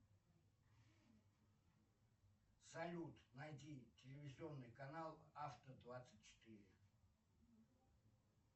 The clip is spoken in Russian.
салют найди телевизионный канал авто двадцать четыре